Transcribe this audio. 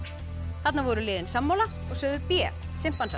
þarna voru liðin sammála og sögðu b